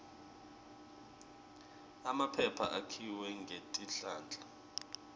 emaphepha akhiwa ngetihlahla